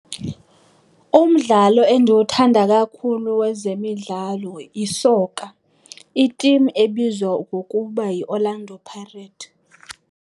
Umdlalo endiwuthanda kakhulu wezemidlalo yisoka, itimu ebizwa ngokuba yiOrlando Pirates.